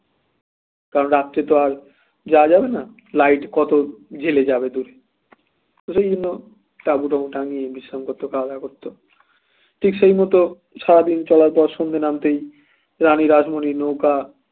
কারণ রাত্রে তো আর যাওয়া যাবেনা light কত জেলে যাবে দূর ওই জন্য তাবু টাবু টাঙ্গিয়ে বিশ্রাম করতো খাওয়া-দাওয়া করত ঠিক সেই মতো সারাদিন চলার পর সন্ধ্যে নামতেই রানী রাসমনির নৌকা